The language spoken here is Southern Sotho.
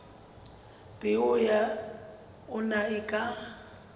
peo ya ona e ka